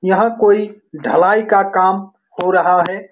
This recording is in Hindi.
यहां कोई ढलाई का काम हो रहा है।